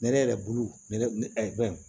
Ne ne yɛrɛ bolo ne ne